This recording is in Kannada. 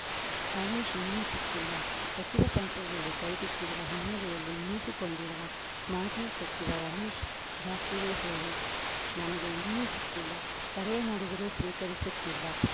ರಮೇಶ್‌ ಇನ್ನೂ ಸಿಕ್ಕಿಲ್ಲ ಸಚಿವ ಸಂಪುಟದಿಂದ ಕೈಬಿಟ್ಟಿರುವ ಹಿನ್ನೆಲೆಯಲ್ಲಿ ಮುನಿಸಿಕೊಂಡಿರುವ ಮಾಜಿ ಸಚಿವ ರಮೇಶ್‌ ಜಾರಕಿಹೊಳಿ ನನಗೆ ಇನ್ನೂ ಸಿಕ್ಕಿಲ್ಲ ಕರೆ ಮಾಡಿದರೂ ಸ್ವೀಕರಿಸುತ್ತಿಲ್ಲ